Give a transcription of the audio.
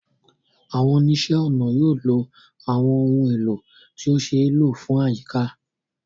Àwọn oníṣẹ́-ọnà yóò lo àwọn ohun èlò tí ó ṣe é lò fún àyíká